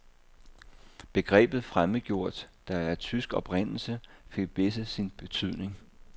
Begrebet fremmedgjort, der er af tysk oprindelse, fik hvæsset sin betydning.